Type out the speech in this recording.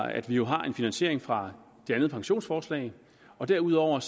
at vi har en finansiering fra det andet pensionsforslag derudover